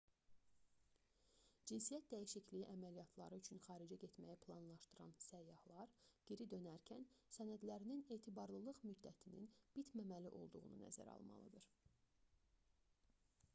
cinsiyyət dəyişikliyi əməliyyatları üçün xaricə getməyi planlaşdıran səyyahlar geri dönərkən sənədlərinin etibarlılıq müddətinin bitməməli olduğunu nəzərə almalıdır